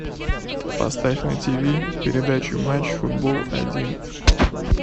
поставь на тв передачу матч футбол один